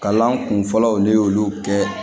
Kalan kun fɔlɔw de y'olu kɛ